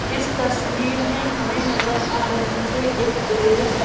इस तस्वीर में हमें नजर आ रही है एक बिल्डिंग --